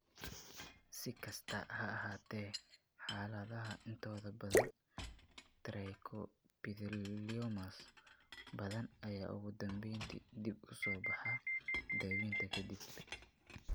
Si kastaba ha ahaatee, xaaladaha intooda badan, trichoepitheliomas badan ayaa ugu dambeyntii dib u soo baxa daaweynta ka dib.